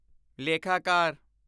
ਲੇਖਾਕਾਰ